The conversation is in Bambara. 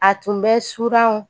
A tun bɛ suranw